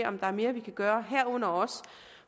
om der er mere vi kan gøre herunder også